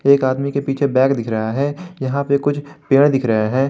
एक आदमी के पीछे बैग दिख रहा है यहां पे कुछ पेड़ दिख रहे हैं।